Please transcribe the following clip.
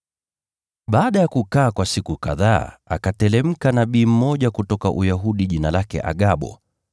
Baada ya kukaa kwa siku kadhaa, akateremka nabii mmoja kutoka Uyahudi jina lake Agabo.